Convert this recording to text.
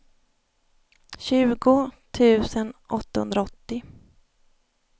tjugo tusen åttahundraåttio